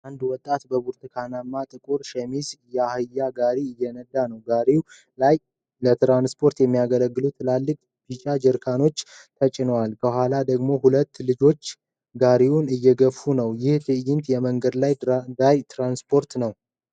አንድ ወጣት በብርቱካናማና ጥቁር ሸሚዝ የአህያ ጋሪ እየነዳ ነው። ጋሪው ላይ ለትራንስፖርት የሚያገለግሉ ትልልቅ ቢጫ ጀሪካኖች ተጭነዋል። ከኋላ ደግሞ ሁለት ልጆች ጋሪውን እየገፉ ነው። ይህ ትዕይንት የመንገድ ዳር ትራንስፖርትን አለ።